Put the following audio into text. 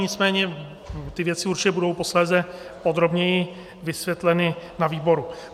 Nicméně ty věci určitě budou posléze podrobněji vysvětleny na výboru.